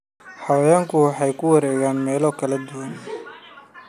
Xayawaanku waxay ku wareegaan meelo kala duwan.